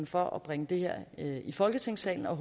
for at bringe det her i folketingssalen og